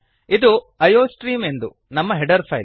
ಇದು I O stream ಎಂದು ನಮ್ಮ ಹೆಡರ್ ಫೈಲ್